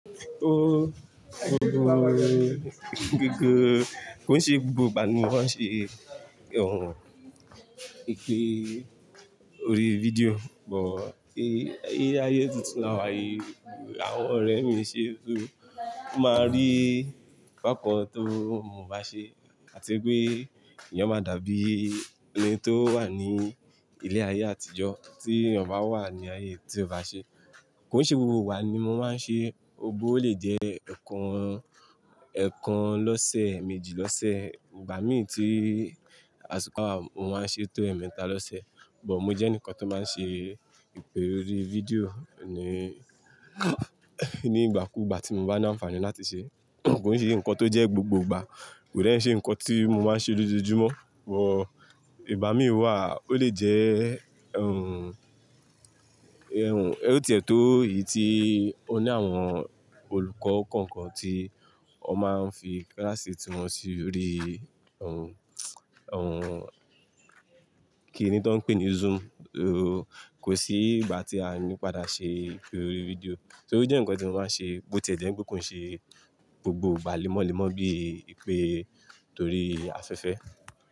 Ó, gbogbo rẹ, gbogbo kò ń ṣe gbogbo ìgbà ni mo máa ń ṣe ohun ìpè orí fídíò, but ile ayé tuntun láwà yìí, àwọn ọ̀rẹ́ mi ṣe tó máa rí bákan tó mo bá ṣe àti pé eeyan máa dàbí ẹni tó wà ní ilé ayé àtijọ́ tí èeyan bá wà ní ayé tí ó bá ṣe. Kò ń ṣe gbogbo igba ni mo máa ń ṣe, ọgbó ó lè jẹ́ ẹ̀ẹ̀kan, ẹ̀ẹ̀kan lọ́sẹ̀, eeméjì lọ́sẹ̀, ìgbà mi tí àsiko bawa mo máa ń ṣe tó ẹ̀ẹ̀mẹta lọ́sẹ̀, but mo jẹ́ enikan tó máa ń ṣe ìpè orí fídíò ní, ní ìgbà kú ìgbà tí mo bá ní àǹfààní láti ṣe. Kò ń ṣe ǹnkan tó jẹ́ gbogbo ìgbà, kò de n ṣe ǹnkan tí mo máa ń ṣe lójoojúmọ́. But ìgbà mí wà, ó lè jẹ́ ohun, ohun, ó ti ẹ̀ tó èyí tí ó ní àwọn olùkọ́ kọ̀ọ̀kan tí wọ́n máa ń fi kíláàsì tí wọ́n sí orí ohun, ohun kí ní ti wa ń pè é ní Zoom. Kò sí ìgbà tí a ní padà ṣe ìpè orí fídíò. Torí ó jẹ́ ǹnkan tí mo máa ń ṣe bó ti ẹ̀ jẹ́ pé kò ń ṣe gbogbo ìgbà lémọ́lémọ́ bí ìpè torí afẹ́fẹ́